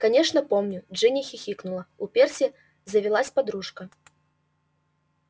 конечно помню джинни хихикнула у перси завелась подружка